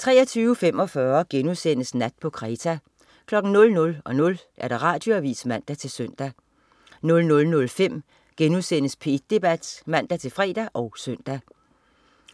23.45 Nat på Kreta* 00.00 Radioavis (man-søn) 00.05 P1 Debat* (man-fre og søn)